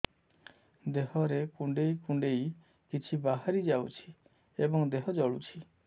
ଦେହରେ କୁଣ୍ଡେଇ କୁଣ୍ଡେଇ କିଛି ବାହାରି ଯାଉଛି ଏବଂ ଦେହ ଜଳୁଛି